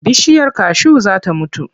Bishiyar kashu za ta mutu.